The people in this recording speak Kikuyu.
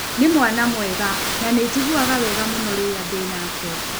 Nĩ mwana mwega na nĩ njiguaga wega mũno rĩrĩa ndĩ nake.